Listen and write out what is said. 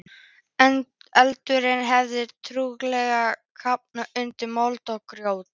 Eldurinn hafði trúlega kafnað undir mold og grjóti.